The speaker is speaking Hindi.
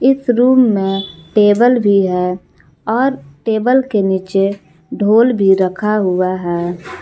इस रूम में टेबल भी है और टेबल के नीचे ढोल भी रखा हुआ है।